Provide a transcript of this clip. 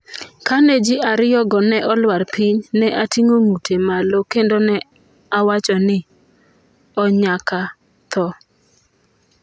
"""Kane [ji ariyogo] ne olwar piny, ne atingo ng'ute malo kendo ne awacho ni: 'O nyaka tho!"